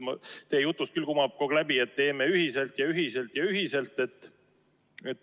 Teie jutust küll kumab kogu aeg läbi, et teeme ühiselt ja ühiselt ja ühiselt.